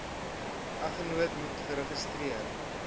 eggenoot moet geregistreer